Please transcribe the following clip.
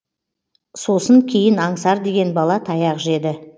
сосын кейін аңсар деген бала таяқ жеді